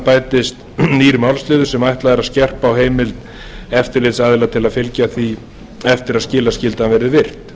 bætist nýr málsliður sem ætlað er að skerpa á heimild eftirlitsaðila til að fylgja því eftir að skilaskyldan verði virt